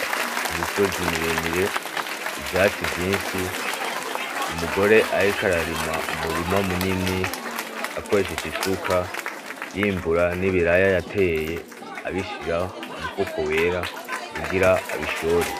Imisozi miremire, ivyatsi vyinshi, umugore ariko ararima umurima munini akoresheje isuka, yimbura n'ibiraya yateye , abishira mumufuko wera kugira abishore.